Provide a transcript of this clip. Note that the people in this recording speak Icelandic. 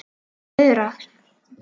Hún löðrar.